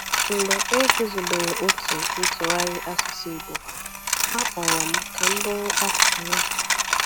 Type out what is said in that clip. Mgbe e guzobere otu ntụgharị asụsụ Igbo, a kpọrọ m ka m bụrụ akụkụ ya.